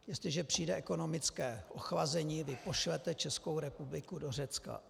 Jestliže přijede ekonomické ochlazení, vy pošlete Českou republiku do Řecka.